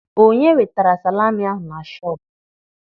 Onye wetara salami ahụ na shọpụ?